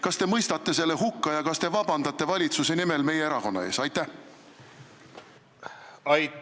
Kas te mõistate selle hukka ja kas te palute valitsuse nimel meie erakonnalt vabandust?